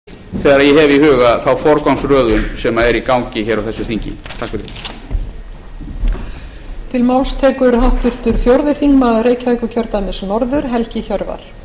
virðulegur forseti það er að mörgu leyti viðeigandi að við hér á áttatíu ára afmæli sjálfstæðisflokksins minnumst þess með því að